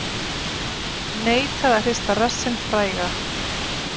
Neitaði að hrista rassinn fræga